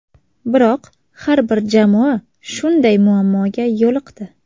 Biroq har bir jamoa shunday muammoga yo‘liqdi.